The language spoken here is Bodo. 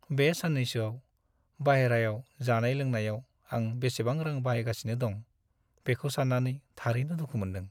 बे साननैसोआव बायह्रायाव जानाय-लोंनायाव आं बेसेबां रां बाहायगासिनो दं, बेखौ सान्नानै थारैनो दुखु मोन्दों !